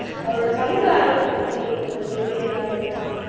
அவரோட சமூக ஆர்வத்தைப் பத்தி நீங்க கொஞ்சம் சொல்றீங்களா நேத்ரா